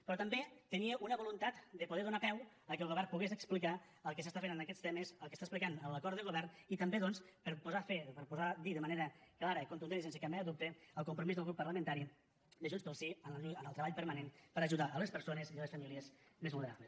però també tenia una voluntat de poder donar peu al fet que el govern pogués explicar el que s’està fent en aquests temes el que està explicant en l’acord de govern i també doncs per posar a fer per posar a dir de manera clara contundent i sense cap mena de dubte el compromís del grup parlamentari de junts pel sí en el treball permanent per ajudar les persones i les famílies més vulnerables